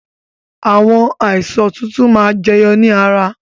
Àwọn àìsàn tuntun máa ma jẹyọ ni ara